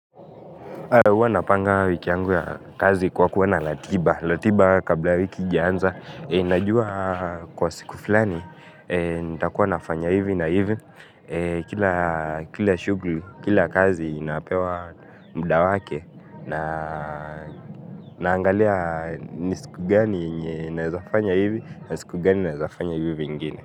Huwa napanga wiki yangu ya kazi kwa kuwa na ratiba. Ratiba kabla wiki haijanza, najua kwa siku fulani, nitakuwa nafanya hivi na hivi. Kila shughuli, kila kazi inapewa muda wake. Naangalia ni siku gani yenye naweza fanya hivi, na siku gani naeza fanya hivo vingine.